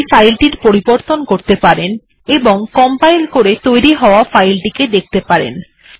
আপনি এই ফাইল টির পরিবর্তন করতে পারেন এবং কম্পাইল করে তৈরী হওয়া ফাইলটি দেখতে পারেন